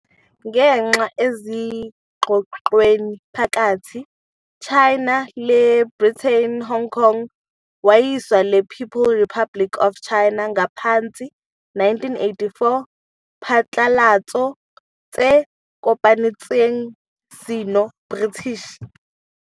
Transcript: Ngenxa ezingxoxweni phakathi China le Britain, Hong Kong wayiswa le People Republic of China ngaphansi 1984 Phatlalatso tse kopanetsweng Sino-British.